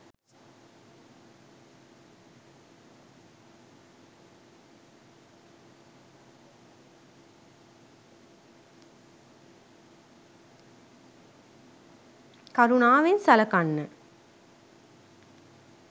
කරුණාවෙන් සලකන්න